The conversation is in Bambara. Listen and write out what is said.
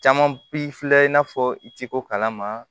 Caman bi filɛ i n'a fɔ i ciko kalama